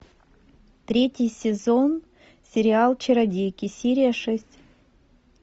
третий сезон сериал чародейки серия шесть